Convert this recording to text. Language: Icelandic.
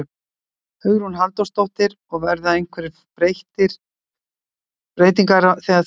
Hugrún Halldórsdóttir: Og verða einhverjar breytingar á þegar þú kemst í stjórn?